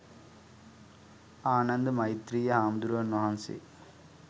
ආනන්ද මෛත්‍රෙය හාමුදුරුවන් වහන්සේ